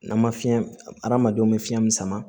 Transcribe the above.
N'an ma fiɲɛ adamadenw bɛ fiɲɛ min sama